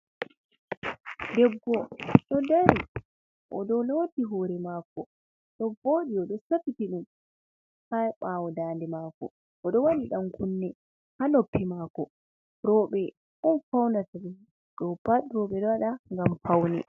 Debbo do dari o do loti hore mako do vodi odo safitiɗum haɓawo dade mako ,o do wadi dankunne ha noppi mako roɓe on faunata dopat roɓe dowada gam faune.